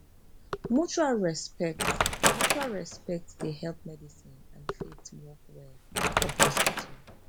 mutual respect mutual respect dey help medicine and faith work well for hospital